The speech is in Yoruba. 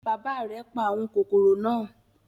Bàbá rẹ̀ pa àwọn kòkòrò náà.